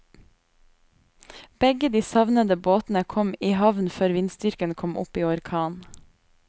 Begge de savnede båtene kom i havn før vindstyrken kom opp i orkan.